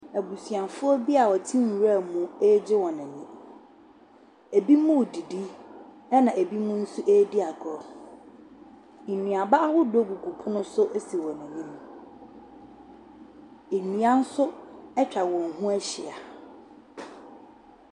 Abusuafoɔ bi a wɔte nwuram ɛgye wɔn ani. Ebi mo didi ɛna ebi nso edi agorɔ. Nnuaba ahodoɔ gugu pono so esi wɔn anim. Nnua so etwa wɔn ho ahyia.